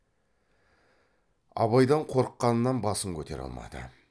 абайдан қорыққанынан басын көтере алмады